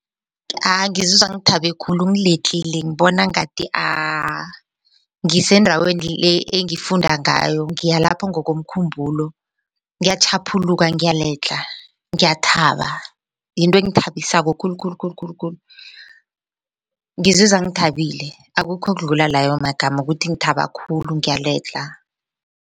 Ngizizwa ngithabe khulu ngiledlhile ngibona ngathi ngisendaweni le engifunda ngayo ngiyalapho ngokomkhumbulo ngiyatjhaphuluka ngiyaledlha ngiyathaba yinto engithabisako khulu khulu khulu khulu khulu ngizizwa ngithabile akukho okudlula layo magama ukuthi ngithaba khulu ngiyaledlha.